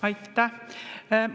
Aitäh!